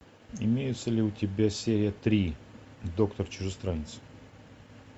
имеется ли у тебя серия три доктор чужестранец